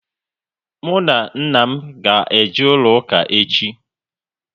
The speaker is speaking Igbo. Mụ na nna m ga eje ụlọ ụka echi